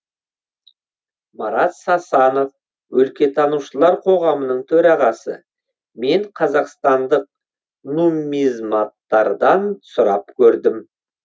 марат сасанов өлкетанушылар қоғамының төрағасы мен қазақстандық нуммизматтардан сұрап көрдім